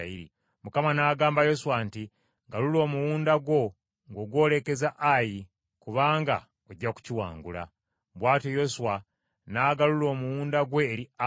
Mukama n’agamba Yoswa nti, “Galula omuwunda gwo ng’ogwolekeza Ayi, kubanga ojja kukiwangula.” Bw’atyo Yoswa n’agalula omuwunda gwe eri Ayi.